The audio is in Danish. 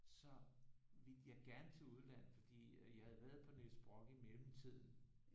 Så ville jeg gerne til udlandet fordi jeg havde været på Niels Brock i mellemtiden